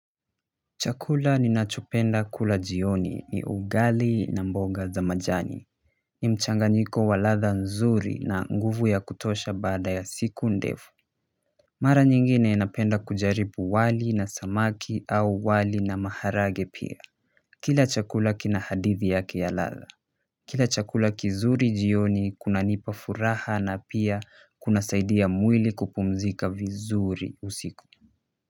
Chakula ninachopenda kula jioni ni ugali na mboga za majani mchanganyiko wa ladha nzuri na nguvu ya kutosha baada ya siku ndefu mara nyingi ninapenda kujaribu wali na samaki au wali na maharage pia kila chakula kina hadithi yake ya ladha kila chakula kizuri jioni kunanipa furaha na pia kunasaidia mwili kupumzika vizuri usiku.